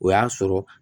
O y'a sɔrɔ